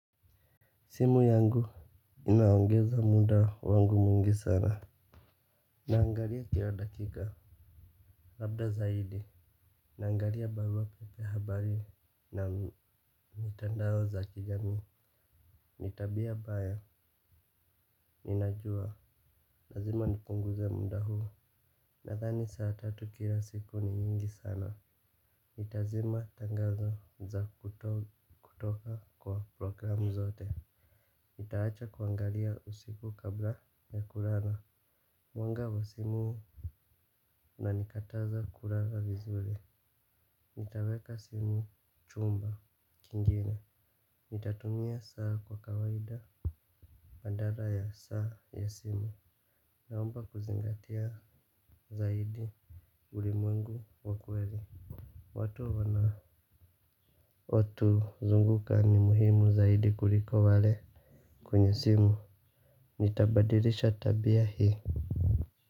Simu yangu inaongeza muda wangu mwingi sana. Naangalia kila dakika, labda zaidi. Naangalia barua pepe, habari na mitandao za kijami. Nitabia mbaya ninajua, lazima nipunguze muda huu. Nadhani saa tatu kila siku ni nyingi sana nitazima tangazo za kutoka kwa programu zote nitaacha kuangalia usiku kabla ya kulala. Mwanga wa simu unanikataza kulala vizuri. Nitaweka simu chumba Kingine. Nitatumia saa kwa kawaida badala ya saa ya simu. Naomba kuzingatia zaidi ulimwengu wakweli. Watu wanao tuzunguka ni muhimu zaidi kuliko wale kwenye simu, nitabadilisha tabia hii.